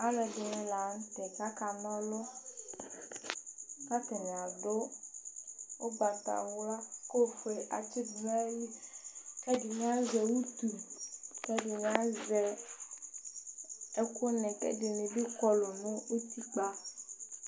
Alʋɛdìní la ntɛ kʋ aka na ɔlu Atani adu ugbatawla kʋ ɔfʋe atsi nʋ ayìlí kʋ ɛdiní azɛ ʋtu kʋ ɛdiní azɛ ɛku ni kʋ ɛdiní bi Kɔlu nʋ ʋtikpa